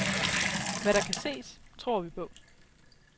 Hvad der kan ses, tror vi på.